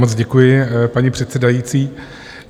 Moc děkuji, paní předsedající.